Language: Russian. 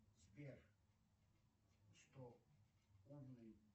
сбер что умный